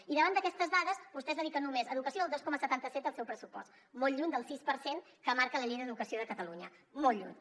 i davant d’aquestes dades vostès dediquen a educació només el dos coma setanta set del seu pressupost molt lluny del sis per cent que marca la llei d’educació de catalunya molt lluny